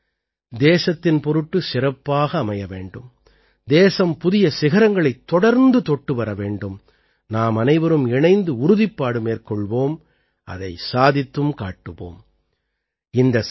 இந்த ஆண்டும் தேசத்தின் பொருட்டு சிறப்பாக அமைய வேண்டும் தேசம் புதிய சிகரங்களைத் தொடர்ந்து தொட்டு வர வேண்டும் நாமனைவரும் இணைந்து உறுதிப்பாடு மேற்கொள்வோம் அதை சாதித்தும் காட்டுவோம்